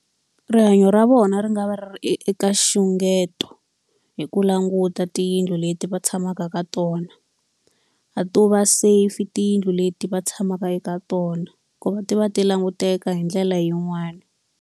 Rihanyo ra vona ri nga va ri eka nxungeto hi ku languta tiyindlu leti va tshamaka ka tona. A to va safe tiyindlu leti va tshamaka eka tona. Hikuva ti va ti languteka hi ndlela yin'wani.